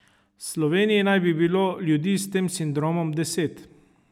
V Sloveniji naj bi bilo ljudi s tem sindromom deset.